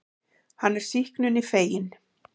Hann er sýknunni feginn.